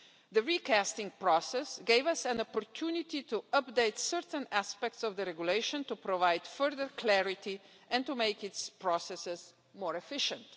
The recasting process gave us an opportunity to update certain aspects of the regulation, to provide further clarity and to make its processes more efficient.